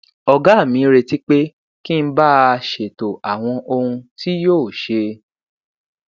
ògá mi retí pé kí n bá a ṣètò àwọn ohun tí yóò ṣe